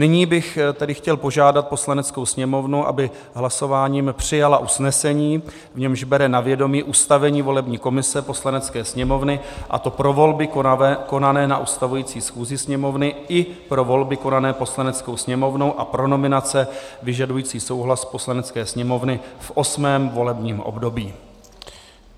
Nyní bych tedy chtěl požádat Poslaneckou sněmovnu, aby hlasováním přijala usnesení, v němž bere na vědomí ustavení volební komise Poslanecké sněmovny, a to pro volby konané na ustavující schůzi Sněmovny i pro volby konané Poslaneckou sněmovnou a pro nominace vyžadující souhlas Poslanecké sněmovny v osmém volebním období.